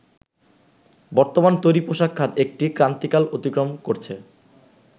বর্তমানে তৈরি পোশাক খাত একটি ক্রান্তিকাল অতিক্রম করছে